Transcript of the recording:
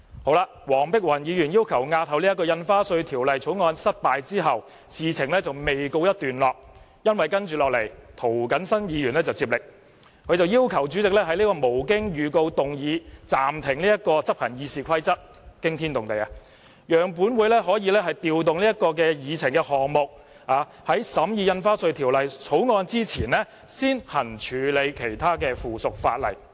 在黃碧雲議員要求押後《條例草案》失敗後，事情仍未告一段落，涂謹申議員接力，要求主席讓他無經預告動議暫停執行《議事規則》的議案——驚天動地——讓本會可以調動議程項目，在審議《條例草案》前先處理附屬法例。